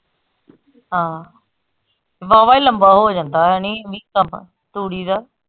ਹਾਂ ਵਾਹਵਾ ਈ ਲੰਬਾ ਹੋ ਜਾਂਦਾ ਆ ਨੀ ਨੀ ਕੰਮ ਤੂੜੀ ਦਾ।